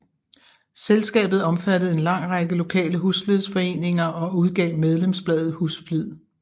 Selskabet omfattede en lang række lokale husflidsforeninger og udgav medlemsbladet Husflid